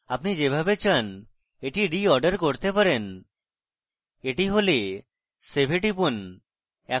আপনি যেভাবে চান এটি reorder করতে পারেন এটি হলে save এ টিপুন